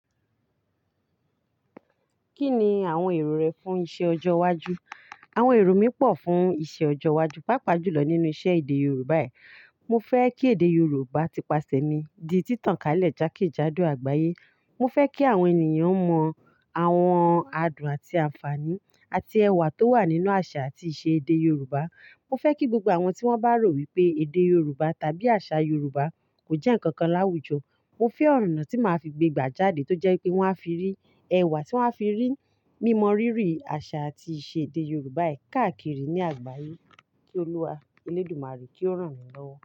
Kí ni àwọn èrò rẹ fún iṣẹ ọjọ́ iwájú? Àwọn èrò mi pọ̀ fún iṣẹ ọjọ́ iwájú. Pápa jùlọ nínú iṣẹ́ èdè Yorùbá yìí. Mo fẹ́ kí èdè Yorùbá ti ipasẹ̀ mi di títàn ká lẹ̀ jákèjádò àgbáyé. Mo fẹ́ kí àwọn ènìyàn mọ àwọn adùn àti ànfàní àti ẹwà tó wà nínú àṣà àti ìṣe èdè Yorùbá. Mo fẹ́ kí gbogbo àwọn tí wọ́n bá rò wípé èdè Yorùbá tàbí àṣà Yorùbá kò jẹ́ ǹkan kan láwùjọ. Mo fẹ́ ọ̀rànná tí màá fi gbé gbà jáde tó jẹ́ pé wọ́n á fi rí ẹwà, tí wọ́n á fi rí mímọ rírì àṣà àti ìṣe èdè Yorùbá yìí káàkiri ní àgbáyé. Ki Olúwa, Elédùmarè kí ó rán mi lọ́wọ́.